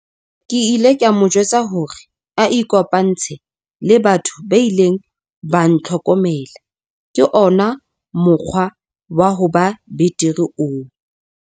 Ke ile ka mo jwetsa hore a ikopantshe le batho ba ileng ba ntlhokomela - ke ona mokgwa wa ho ba betere oo.